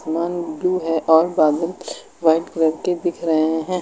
मान ब्लू है और बादल व्हाइट कलर के दिख रहे हैं।